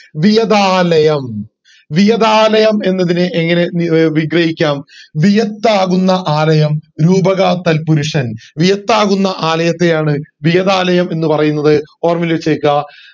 വിയതാലയം വിയതാലയം എന്നതിനെ എങ്ങനെ വി ഏർ വിഗ്രഹിക്കാം വിയത്ത് ആകുന്ന ആലയം രൂപകത്തൽ പുരുഷൻ വിയത്ത് ആകുന്ന ആലയത്തെ ആണ് വിയതാലയം എന്ന് പറയുന്നത് ഓർമ്മയിൽ വച്ചെക്ക്ആ